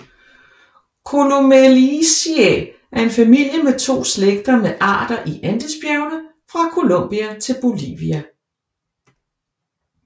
Columelliaceae er en familie med to slægter med arter i Andesbjergene fra Colombia til Bolivia